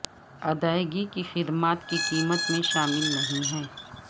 ادائیگی کی خدمات کی قیمت میں شامل نہیں ہیں